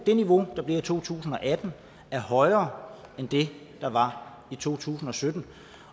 det niveau der bliver i to tusind og atten er højere end det der var i to tusind og sytten